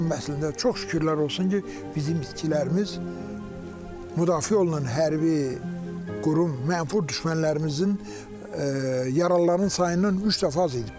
Amma əslində çox şükürlər olsun ki, bizim itkilərimiz müdafiə olunan hərbi qurum mənfur düşmənlərimizin yaralılarının sayından üç dəfə az idi.